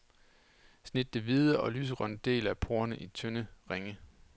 Snit den hvide og lysegrønne del af porrerne i tynde ringe.